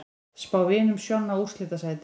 Spá Vinum Sjonna úrslitasæti